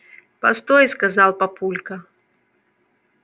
постой сказал папулька